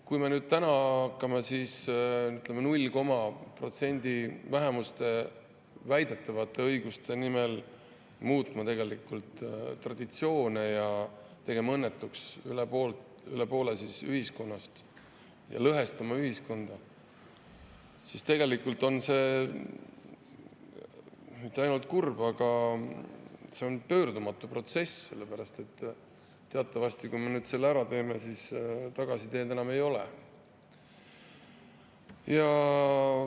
Kui me täna hakkame mingi null koma protsendi vähemuse väidetavate õiguste nimel muutma traditsioone ja tegema õnnetuks rohkem kui poolt ühiskonnast, lõhestama ühiskonda, siis tegelikult ei ole see mitte ainult kurb, vaid see on pöördumatu protsess, sest teatavasti, kui me selle ära teeme, siis tagasiteed enam ei ole.